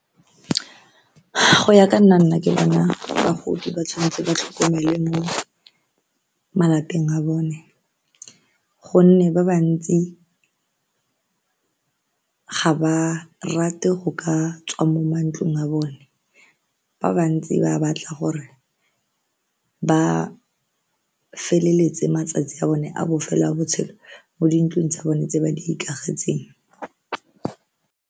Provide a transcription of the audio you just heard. Go ya ka nna nna ke bona bagodi ba tshwanetse ba tlhokomelwe mo malapeng a bone gonne ba ba ntsi ga ba rate go ka tswa mo mantlong a bone, ba bantsi ba batla gore ba feleletse matsatsi a bone a bofelo a botshelo mo dintlong tsa bone tse ba di ikagetseng.